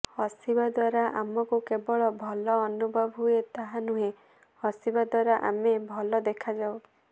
ହସିବା ଦ୍ୱାରା ଆମକୁ କେବଳ ଭଲ ଅନୁଭବ ହୁଏ ତାହା ନୁହେଁ ହସିବା ଦ୍ୱାରା ଆମେ ଭଲ ଦେଖାଯାଉ